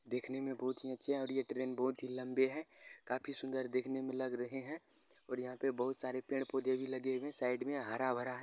देखने में बहोत ही अच्छे हैं और ये ट्रेन बहोत ही लंबे हैं। काफी ही सुंदर देखने में लग रहे हैं और यहाँ बहोत सारे पेड़-पौधे भी लगे हुए हैं साइड में हरा-भरा है।